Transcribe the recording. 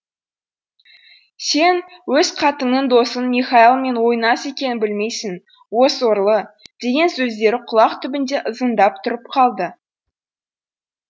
сен өз қатының досың михайлмен ойнас екенін білмейсің о сорлы деген сөздері құлақ түбінде ызыңдап тұрып алды